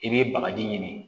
I bɛ bagaji ɲini